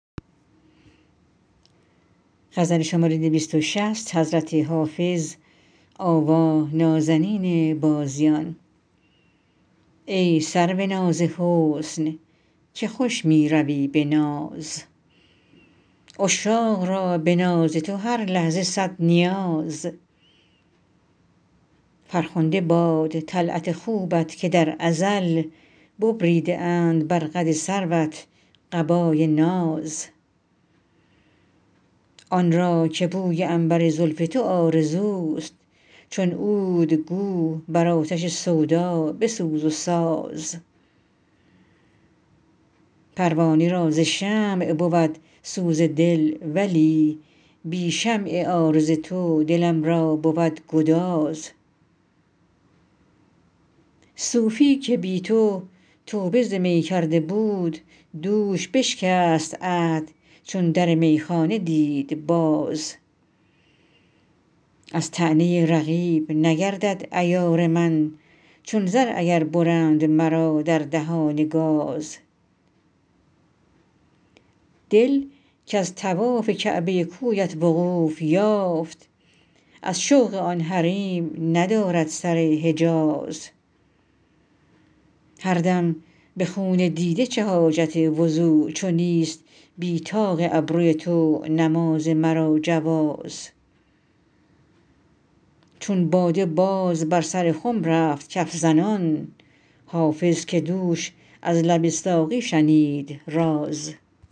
ای سرو ناز حسن که خوش می روی به ناز عشاق را به ناز تو هر لحظه صد نیاز فرخنده باد طلعت خوبت که در ازل ببریده اند بر قد سروت قبای ناز آن را که بوی عنبر زلف تو آرزوست چون عود گو بر آتش سودا بسوز و ساز پروانه را ز شمع بود سوز دل ولی بی شمع عارض تو دلم را بود گداز صوفی که بی تو توبه ز می کرده بود دوش بشکست عهد چون در میخانه دید باز از طعنه رقیب نگردد عیار من چون زر اگر برند مرا در دهان گاز دل کز طواف کعبه کویت وقوف یافت از شوق آن حریم ندارد سر حجاز هر دم به خون دیده چه حاجت وضو چو نیست بی طاق ابروی تو نماز مرا جواز چون باده باز بر سر خم رفت کف زنان حافظ که دوش از لب ساقی شنید راز